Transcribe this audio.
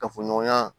Kafo ɲɔgɔnya